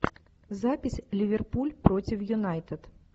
запись ливерпуль против юнайтед